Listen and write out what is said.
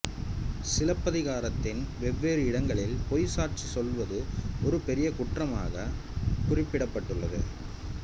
சிலப்பதிகாரத்தின் வெவ்வேறு இடங்களில் பொய் சாட்சி சொல்வது ஒரு பெரிய குற்றமாக குறிப்பிடப்பட்டுள்ளது